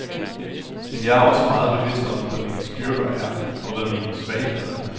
Men jeg er også meget bevidst om, hvad mine styrker er, og hvad mine svagheder er.